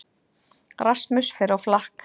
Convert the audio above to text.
Rasmus fer á flakk